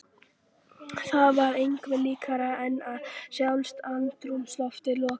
Það var engu líkara en að sjálft andrúmsloftið logaði.